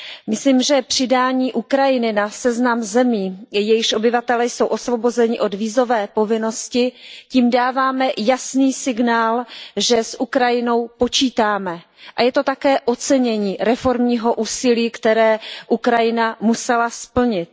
Myslím, že přidáním Ukrajiny na seznam zemí, jejichž obyvatelé jsou osvobozeni od vízové povinnosti, dáváme jasný signál, že s Ukrajinou počítáme, a je to také ocenění reformního úsilí, které Ukrajina musela splnit.